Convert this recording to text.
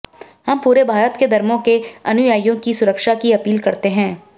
हम पूरे भारत के धर्मों के अनुयायियों की सुरक्षा की अपील करते हैं